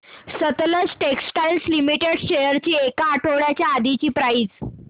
Sutlej Textiles Limited shares ची एक आठवड्या आधीची प्राइस